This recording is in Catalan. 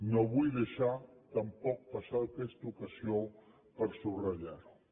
no vull deixar tampoc passar aquesta ocasió per subratllar ho